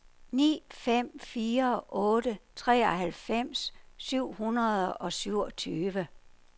ni fem fire otte treoghalvfems syv hundrede og syvogtyve